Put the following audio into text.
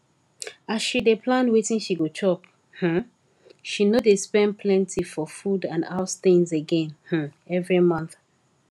as she dey plan wetin she go chop um she no dey spend plenty for food and house things again um every month